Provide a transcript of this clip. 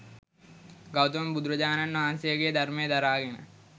ගෞතම බුදුරජාණන් වහන්සේගේ ධර්මය දරාගෙන